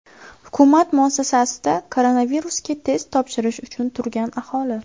Hukumat muassasasida koronavirusga test topshirish uchun turgan aholi.